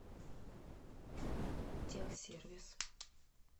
тех сервис